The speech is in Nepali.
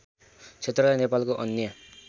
क्षेत्रलाई नेपालको अन्य